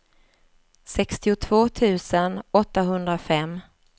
sextiotvå tusen åttahundrafem